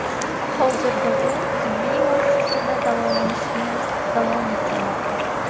Hozirda u tibbiy muassasada davolanishni davom ettirmoqda.